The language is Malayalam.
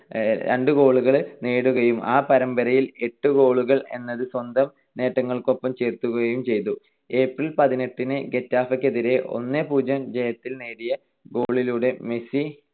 രണ്ട് goal കൾ നേടുകയും ആ പരമ്പരയിൽ എട്ട് goal കൾ എന്നത് സ്വന്തം നേട്ടങ്ങൾക്കൊപ്പം ചേർക്കുകയും ചെയ്തു. April പതിനെട്ടിന് ഗെറ്റാഫെക്കെതിരായ ഒന്ന് - പൂജ്യം ജയത്തിൽ നേടിയ goal ലൂടെ മെസ്സി